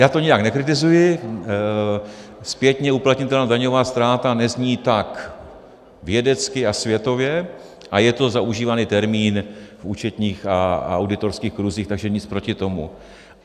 Já to nijak nekritizuji, zpětně uplatnitelná daňová ztráta nezní tak vědecky a světově a je to zaužívaný termín v účetních a auditorských kruzích, takže nic proti tomu.